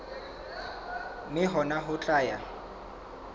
mme hona ho tla ya